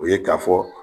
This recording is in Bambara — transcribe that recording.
O ye k'a fɔ